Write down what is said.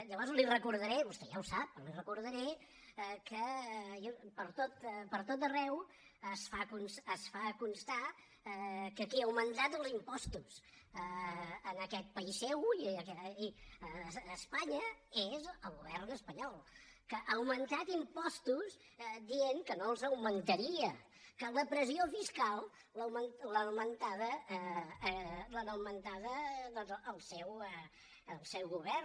llavors li recordaré vostè ja ho sap però li ho recordaré que pertot arreu es fa constar que qui ha augmentat els impostos en aquest país seu i a espanya és el govern espanyol que ha augmentat impostos dient que no els augmentaria que la pressió fiscal l’ha augmentada doncs el seu govern